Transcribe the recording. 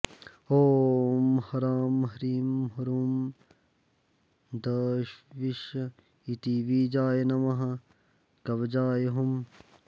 ॐ ह्रां ह्रीं ह्रूं द्विष इति बीजाय नमः कवचाय हुम्